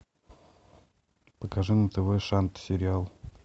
покажи на тв шант сериал